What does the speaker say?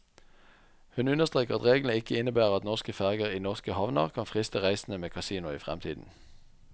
Hun understreker at reglene ikke innebærer at norske ferger i norske havner kan friste reisende med kasino i fremtiden.